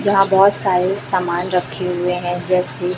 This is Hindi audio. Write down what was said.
जहां बहोत सारे सामान रखे हुए हैं जैसे--